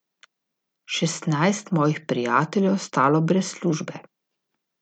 Šestnajst mojih prijateljev je ostalo brez službe.